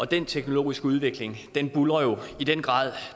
den teknologiske udvikling buldrer jo i den grad